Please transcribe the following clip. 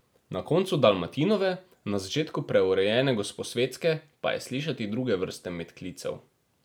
Na koncu Dalmatinove, na začetku preurejene Gosposvetske pa je slišati druge vrste medklicev.